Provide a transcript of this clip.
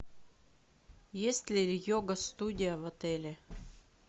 есть ли йога студия в отеле